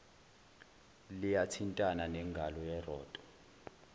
liyathintana nengalo yeroto